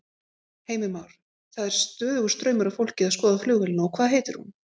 Heimir Már: Það er stöðugur straumur af fólki að skoða flugvélina og hvað heitir hún?